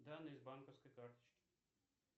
данные с банковской карточки